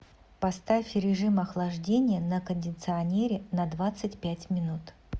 поставь режим охлаждения на кондиционере на двадцать пять минут